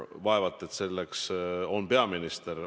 Vaevalt et see peaminister.